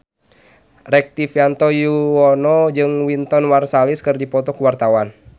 Rektivianto Yoewono jeung Wynton Marsalis keur dipoto ku wartawan